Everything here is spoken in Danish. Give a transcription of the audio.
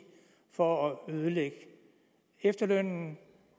for at ødelægge efterlønnen